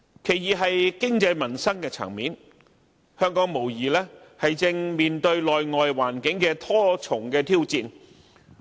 其二，是經濟民生層面，香港無疑正面對內外環境的多重挑戰。